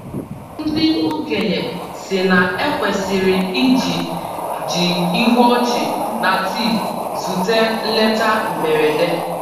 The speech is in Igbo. Ndị okenye sị na- ekwesịrị i ji ji ihu ọchị na tii zute nleta mgberede.